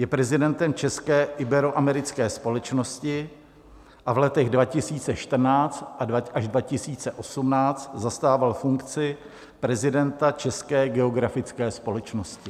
Je prezidentem České iberoamerické společnosti a v letech 2014 až 2018 zastával funkci prezidenta České geografické společnosti.